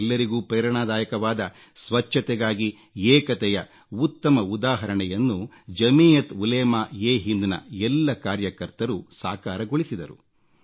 ಎಲ್ಲರಿಗೂ ಪ್ರೇರಣಾದಾಯಕವಾದ ಸ್ವಚ್ಛತೆಗಾಗಿ ಏಕತೆಯ ಉತ್ತಮ ಉದಾಹರಣೆಯನ್ನು ಜಮೀಯತ್ ಉಲೇಮಾ ಎ ಹಿಂದ್ನ ಎಲ್ಲ ಕಾರ್ಯಕರ್ತರು ಸಾಕಾರಗೊಳಿಸಿದರು